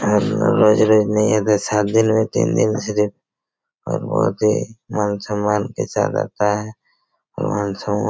हर रोज-रोज नहीं है तो सात दिन में तीन दिन सिर्फ और बहुत ही मानसूमान के साथ आता है मानसूमान--